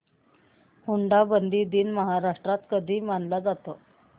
हुंडाबंदी दिन महाराष्ट्रात कधी मानला जातो